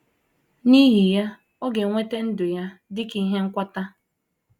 N’ihi ya, ọ ga - enweta ‘‘ ndụ ya dị ka ihe nkwata. ’